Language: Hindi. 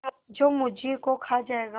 जो मुझी को खा जायगा